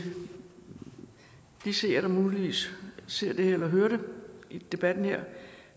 de seere eller muligvis ser eller hører debatten her